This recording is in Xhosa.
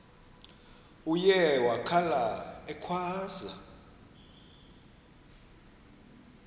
uye wakhala ekhwaza